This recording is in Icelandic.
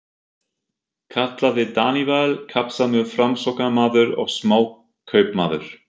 kallaði Daníval, kappsamur Framsóknarmaður og smákaupmaður.